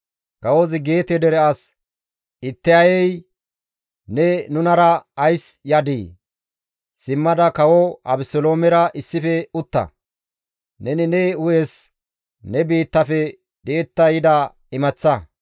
Kawozi Geete dere as Ittayey, «Ne nunara ays yadii? Simmada kawo Abeseloomera issife utta; neni ne hu7es ne biittafe di7etta yida imaththa.